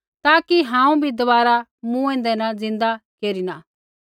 ताकि हांऊँ बी दबारा मूँएंदै न ज़िन्दै केरिना